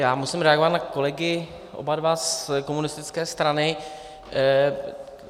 Já musím reagovat na kolegy - oba dva z komunistické strany.